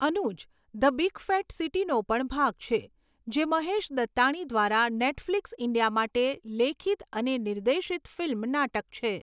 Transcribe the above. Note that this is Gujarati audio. અનુજ 'ધ બિગ ફેટ સિટી'નો પણ ભાગ છે, જે મહેશ દત્તાણી દ્વારા નેટફ્લિક્સ ઇન્ડિયા માટે લેખિત અને નિર્દેશિત ફિલ્મ નાટક છે.